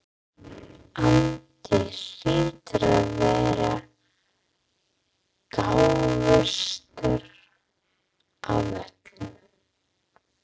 Andi hlýtur að vera gáfaðastur af öllum.